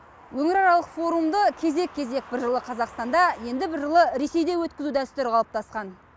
өңіраралық форумды кезек кезек бір жылы қазақстанда енді бір жылы ресейде өткізу дәстүрі қалыптасқан